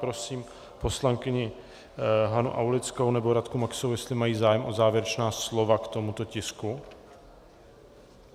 Prosím poslankyni Hanu Aulickou nebo Radku Maxovou, jestli mají zájem o závěrečná slova k tomuto tisku.